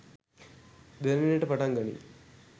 දැනෙන්නට පටන් ගනී